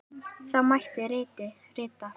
Þá mætti rita